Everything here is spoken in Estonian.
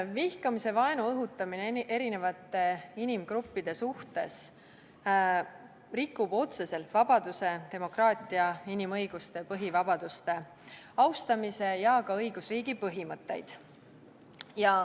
" Vihkamise ja vaenu õhutamine erinevate inimgruppide suhtes rikub otseselt vabaduse, demokraatia, inimõiguste ja põhivabaduste austamise ja ka õigusriigi põhimõtteid.